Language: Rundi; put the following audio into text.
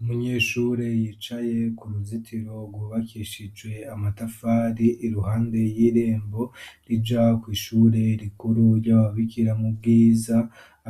Umunyeshure yicaye kuruzitiro, rwubakishijwe amatafari iruhande yirembo rija kw'ishure rukuru ryababikira mu bwiza